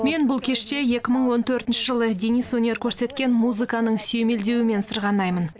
мен бұл кеште екі мың он төртінші жылы денис өнер көрсеткен музыканың сүйемелдеуімен сырғанаймын